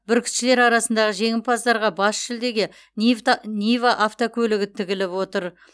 бүркітшілер арасындағы жеңімпаздарға бас жүлдеге нива автокөлігі тігіліп отыр